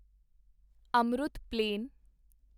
Amrut plain